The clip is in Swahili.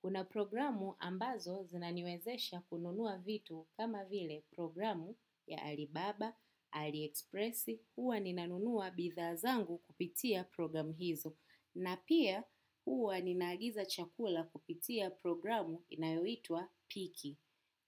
Kuna programu ambazo zinaniwezesha kununua vitu kama vile programu ya Alibaba, Aliexpress, huwa ninanunua bithaa zangu kupitia programu hizo. Na pia huwa ninaagiza chakula kupitia programu inayoitwa Piki.